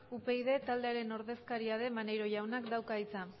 upyd taldearen ordezkaria den maneiro jaunak dauka hitza